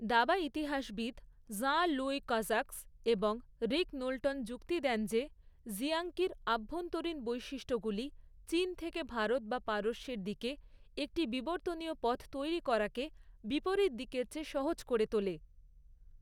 দাবা ইতিহাসবিদ Jean Louis Cazaux এবং রিক নোল্টন যুক্তি দেন যে, জিয়াংকির আভ্যন্তরীণ বৈশিষ্ট্যগুলি, চীন থেকে ভারত বা পারস্যের দিকে একটি বিবর্তনীয় পথ তৈরি করাকে, বিপরীত দিকের চেয়ে সহজ করে তোলে।